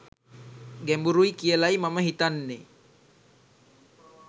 ගැඹුරුයි කියලයි මම හිතන්තේ.